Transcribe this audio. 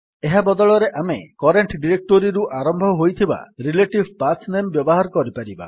ଏହା ବଦଳରେ ଆମେ କରେଣ୍ଟ୍ ଡିରେକ୍ଟୋରୀରୁ ଆରମ୍ଭ ହୋଇଥିବା ରିଲେଟିଭ୍ ପାଥ୍ ନାମ ବ୍ୟବହାର କରିପାରିବା